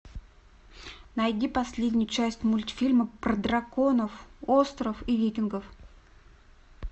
найди последнюю часть мультфильма про драконов остров и викингов